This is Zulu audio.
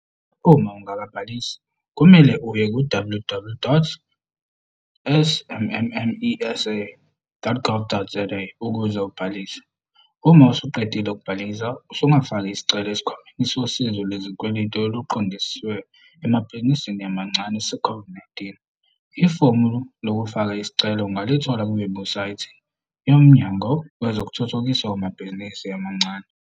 Uma ungakabhalisi, kumele uye ku-ww.smmesa.gov.za ukuze ubhalise. Uma usuqedile ukubhalisa, usungafaka isicelo Esikhwameni Sosizo Lwe zikweletu oluqondiswe emabhizinisini amancane seCOVID-19. Ifomu lokufaka isicelo ungalithola kuwebhusaythi yoMnyango Wezokuthuthukiswa Kwamabhizinisi Amancane.